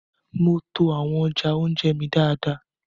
Mo to awọn ọja ounjẹ mí dáadáa